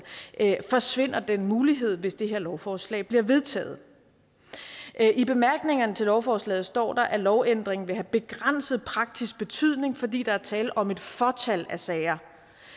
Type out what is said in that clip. forsvinder den mulighed hvis det her lovforslag bliver vedtaget i bemærkningerne til lovforslaget står der at lovændringen vil have begrænset praktisk betydning fordi der er tale om et fåtal af sager